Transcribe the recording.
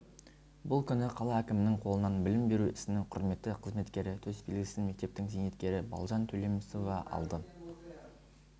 бұл күні қала әкімінің қолынан білім беру ісінің құрметті қызметкері төсбелгісін мектептің зейнеткері балжан төлемісова алды